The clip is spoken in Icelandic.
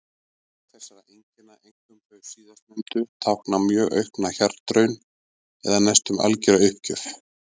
Mörg þessara einkenna, einkum þau síðastnefndu, tákna mjög aukna hjartaraun eða næstum algjöra uppgjöf.